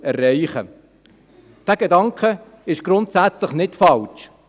Dieser Gedanke ist grundsätzlich nicht falsch.